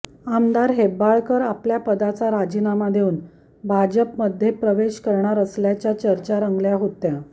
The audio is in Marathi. आमदार हेब्बाळकर आपल्या पदाचा राजीनामा देऊन भाजपमध्ये प्रवेश करणार असल्याच्या चर्चा रंगल्या होत्या